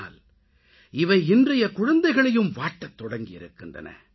ஆனால் இவை இன்றைய குழந்தைகளையும் வாட்டத்தொடங்கியிருக்கின்றன